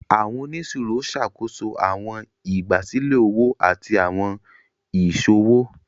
Àwọn oniṣiro ṣàkóso àwọn ìgbàsílẹ̀ òwò àti àwọn iṣowo.